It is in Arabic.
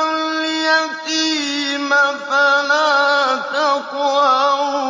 الْيَتِيمَ فَلَا تَقْهَرْ